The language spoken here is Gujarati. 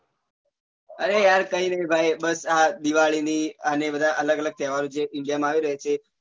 અરે યાર કઈ નહિ ભાઈ બસ આ દિવાળી ની અને બધા અલગ અલગ જે તહેવાર જે ઉજવવા માં આવી રહ્યા છે